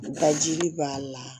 Ka jiri b'a la